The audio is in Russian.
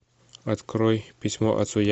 открой письмо отцу